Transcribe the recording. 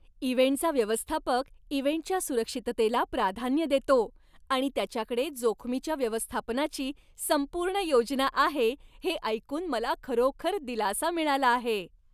इव्हेंटचा व्यवस्थापक इव्हेंटच्या सुरक्षिततेला प्राधान्य देतो आणि त्याच्याकडे जोखमीच्या व्यवस्थापनाची संपूर्ण योजना आहे हे ऐकून मला खरोखर दिलासा मिळाला आहे.